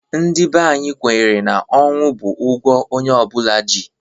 Ndị bè anyị kwenyere na ọnwụ bụ ụgwọ onye ọ bụla ji.